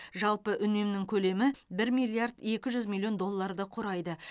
жалпы үнем көлемі шамамен бір миллиард екі жүз миллион долларды құрайды